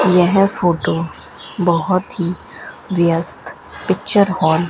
यह फोटो बहुत ही व्यस्त पिक्चर हॉल --